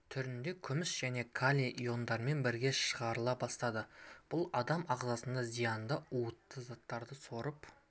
түрінде күміс және калий йондарымен бірге шығарыла бастады бұл адам ағзасына зиянды уытты заттарды сорып